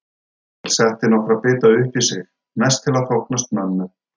Emil setti nokkra bita uppí sig, mest til að þóknast mömmu.